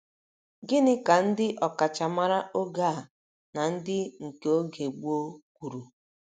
Gịnị ka ndị ọkachamara oge a na ndị nke oge gboo kwuru?